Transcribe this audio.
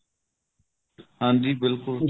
ਹਾਂਜੀ ਬਿਲਕੁਲ ਜੀ